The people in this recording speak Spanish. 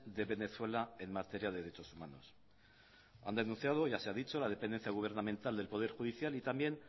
de venezuela en materia de derechos humanos han denunciado ya se ha dicho la dependencia gubernamental del poder judicial y también